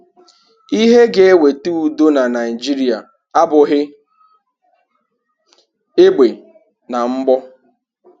Ihe ga eweta udo na Naịjịrịa abụghị egbe na mgbọ.